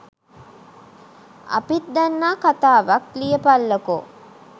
අපිත් දන්නා කතාවක් ලියපල්ලකෝ